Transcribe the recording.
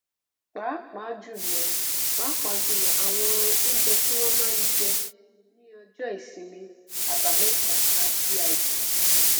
pàápàá jùlọ pàápàá jùlọ àwọn oúnjẹ tí wọn n jẹ ní ọjọ ìsinmin àbámẹta àti àìkú